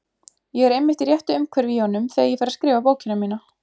Ég er einmitt í réttu umhverfi í honum þegar ég fer að skrifa bókina mína.